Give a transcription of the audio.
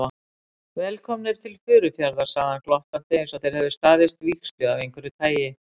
Velkomnir til Furufjarðar sagði hann glottandi einsog þeir hefðu staðist vígslu af einhverju tagi.